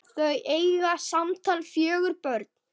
Þau eiga samtals fjögur börn.